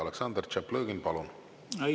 Aleksandr Tšaplõgin, palun!